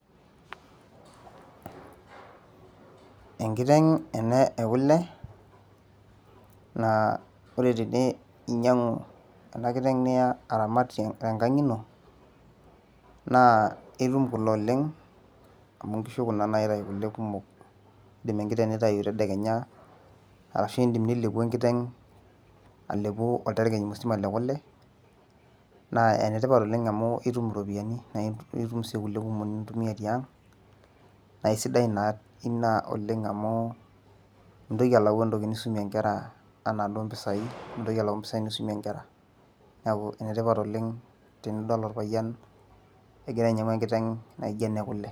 Enkiteng ena ekule, na ore teninyangu enakiteng aramat te nkang ino na itum kule oleng amu keeta kule kumok tenindim atelepu tedekenya arashu teipa alepu oljiriket musima lekule na enetipat Oleng amu itum iropiyiani nintumia tiang naisidai taa pii amu mintoki alau entoki nisumie nkera anaa duo mpisai nisumie nkera neaku enetipat Oleng teninepu orpayian egira ainyangu enkiteng.